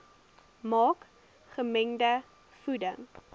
maak gemengde voeding